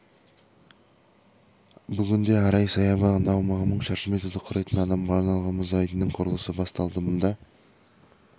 бүгінде арай саябағында аумағы мың шаршы метрді құрайтын адамға арналған мұз айдынының құрылысы басталды мұнда